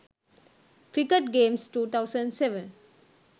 cricket games 2007